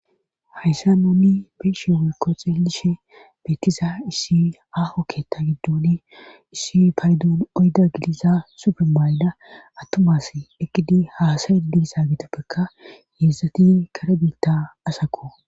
Hayssa noonni beeshe wiikko xeellishe beettiza issi aho kketta giddoni issi paydoon oyda gilisa supermaayda attumas ekidi haasaye gidisa gitoppekka heessatin kare biitta asaku